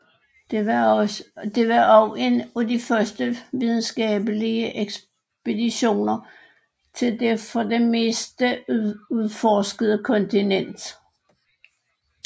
Det var også en af de første videnskabelige ekspeditioner til det for det meste uudforskede kontinent